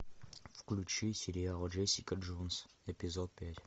включи сериал джессика джонс эпизод пять